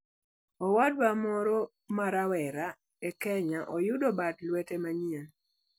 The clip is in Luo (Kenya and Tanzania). Owadwa moro ma rawera e Kenya oyudo bad lwete manyien